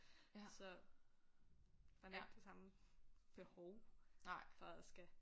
Så man har ikke det samme behov for at skal